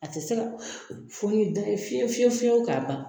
A ti se fɔ ni da ye fiye fiye fiyewu ka ban.